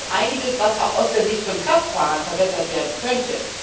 Da ist einiges, was auch aus der Sicht von Kraftfahrern verbessert werden könnte.